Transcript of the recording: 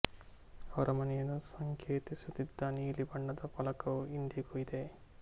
ಅವರ ಮನೆಯನ್ನು ಸಂಕೇತಿಸುತ್ತಿದ್ದ ನೀಲಿ ಬಣ್ಣದ ಫಲಕವು ಇಂದಿಗೂ ಇದೆ